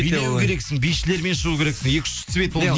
билеу керексіз бишілермен шығу керексің екі үш свет